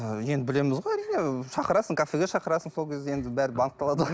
ы енді білеміз ғой әрине шақырасың кафеге шақырасың сол кезде енді бәрі анықталады ғой